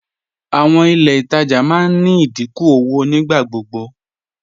Àwọn ilẹ̀ ìtajà máa ní ìdíkún owó nígbàgbọgbọ